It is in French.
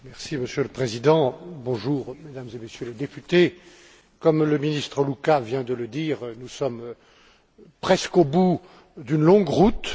Monsieur le Président, Mesdames et Messieurs les députés, comme le ministre Louca vient de le dire, nous sommes presque au bout d'une longue route.